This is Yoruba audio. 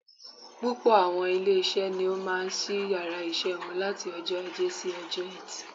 Púpọ̀ àwọn ilé isé ni ó máa sí yàrá isé wọn láti ojó Ajé si ojó Etì